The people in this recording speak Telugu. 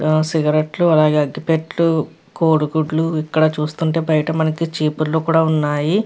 సిగరెట్ లు అలాగే అగ్గిపెట్టలు కోడిగుడ్లు ఇక్కడ చూస్తుంటే బైట మనకి చీపుర్లు కూడా ఉన్నాయి.